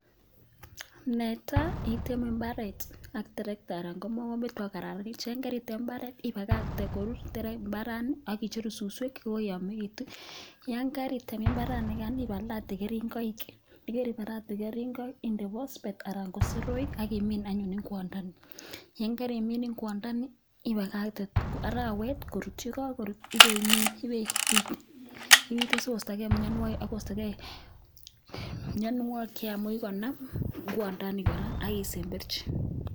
Netai iteme imbaaret ak trekta anan ko mogombet ipoko kararanit, karitem imbaret ipakakten koruur imbarani aki cheru suswek che koyomekitun, koyon karitem imbaranikan ipalate keringoik, ye keripalate keringoik indee phosphate anan ko soroek ak kimiin anyuun ingwandani, ye kerimin ingwandani ipakakte arawet koruut, ye kakoruut ipeimin, ipeipit, ipite sikoistokee mianwokik che kikonam ingwondani kora ak kisemberchi.